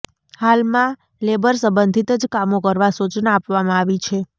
હાલમા labour સંબંધીત જ કામો કરવા સૂચના આપવામા આવી છે